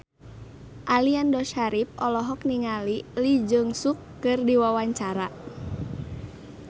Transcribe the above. Aliando Syarif olohok ningali Lee Jeong Suk keur diwawancara